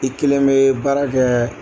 I kelen bɛ baara kɛ